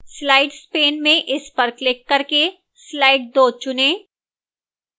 slides pane में इस पर क्लिक करके slide 2 चुनें